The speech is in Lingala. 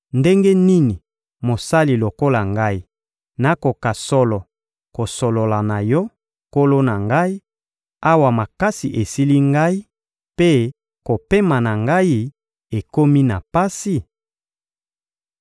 Ndenge nini mosali lokola ngai, nakoka solo kosolola na yo, nkolo na ngai, awa makasi esili ngai mpe kopema na ngai ekomi na pasi?